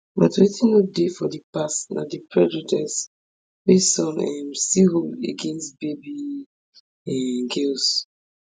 but wetin no dey for di past na di prejudice wey some um still hold against baby um girls